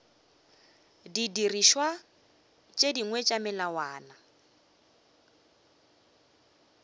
didirišwa tše dingwe tša melawana